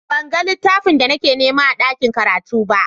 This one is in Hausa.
Ban gan littafin da nake nema a ɗaƙin karatu ba.